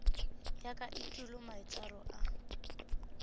ya ka etulo maitshwaro a